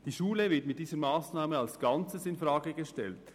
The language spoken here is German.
Die Schule wird mit dieser Massnahme als Ganzes infrage gestellt.